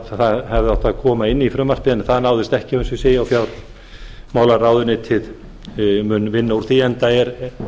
það hefði átt að koma inn í frumvarpið en það náðist ekki og fjármálaráðuneytið mun vinna úr því enda